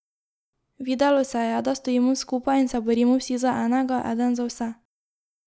Videlo se je, da stojimo skupaj in se borimo vsi za enega, eden za vse.